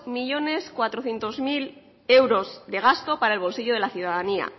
millónes cuatrocientos mil euros de gasto para el bolsillo de la ciudadanía